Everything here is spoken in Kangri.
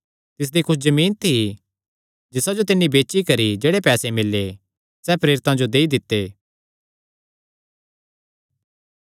तिसदी कुच्छ जमीन थी जिसा जो तिन्नी बेची करी कने जेह्ड़े पैसे मिल्ले सैह़ प्रेरितां जो देई दित्ते